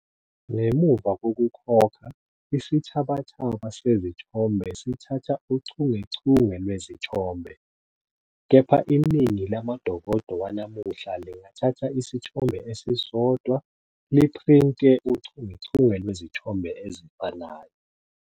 Ngemuva kokukhokha, isithabathaba sezithombe sithatha uchungechunge lwezithombe, kepha iningi lamadokodo wanamuhla lingathatha isithombe esisodwa liphrinte uchungechunge lwezithombe ezifanayo.